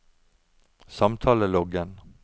samtaleloggen